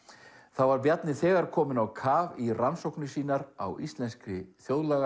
þá var Bjarni þegar kominn á kaf í rannsóknir sínar á íslenskri